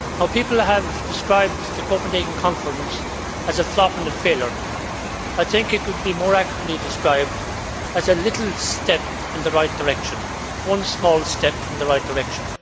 People have described the Copenhagen conference as a flop and a failure. I think it could be more accurately described as a little step in the right direction one small step in the right direction.